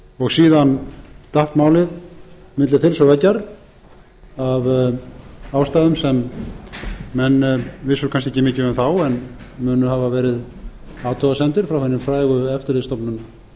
og síðan datt málið milli þils og veggjar af ástæðum sem menn vissu kannski ekki mikið um þá en mun hafa verið athugasemdir frá hinni frægu eftirlitsstofnun